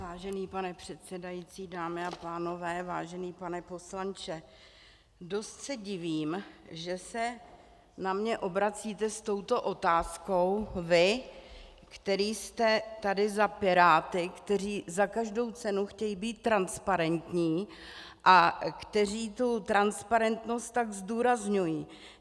Vážený pane předsedající, dámy a pánové, vážený pane poslanče, dost se divím, že se na mě obracíte s touto otázkou vy, který jste tady za Piráty, kteří za každou cenu chtějí být transparentní a kteří tu transparentnost tak zdůrazňují.